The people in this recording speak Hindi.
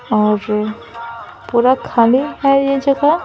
और पूरा खाली है यह जगह --